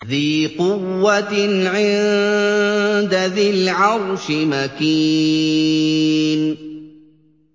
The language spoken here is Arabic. ذِي قُوَّةٍ عِندَ ذِي الْعَرْشِ مَكِينٍ